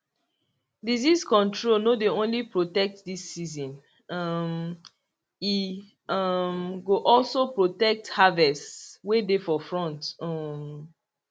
disease control no dey only protect this season um e um go also protect harvests way dey for front um